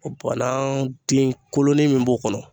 banan den kolonin min b'o kɔnɔ